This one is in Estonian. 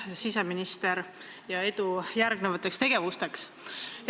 Aitäh, siseminister, ja edu järgnevateks tegevusteks!